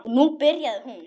Og nú byrjaði hún.